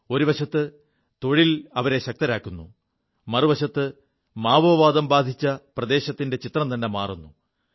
ഒരുവശത്ത് തൊഴിൽ അവരെ ശക്തരാക്കുു മറുവശത്ത് മാവോവാദം ബാധിച്ച പ്രദേശത്തിന്റെ ചിത്രംത െമാറുു